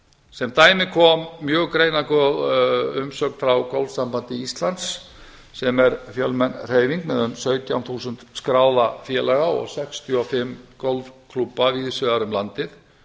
sem dæmi kom mjög greinargóð umsögn frá golfsambandi íslands sem er fjölmenn hreyfing með um sautján þúsund skráða félaga og sextíu og fimm golfklúbba víðs vegar um landið